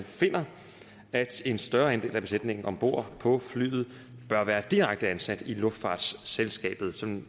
finder at en større andel af besætningen om bord på flyet bør være direkte ansat i luftfartsselskabet sådan